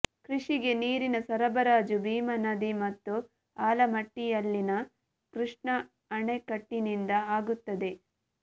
ಕೃಷಿಗೆ ನೀರಿನ ಸರಬರಾಜು ಭೀಮಾ ನದಿ ಮತ್ತು ಆಲಮಟ್ಟಿಯಲ್ಲಿನ ಕೃಷ್ಣಾ ಅಣೆಕಟ್ಟಿನಿಂದ ಆಗುತ್ತದೆ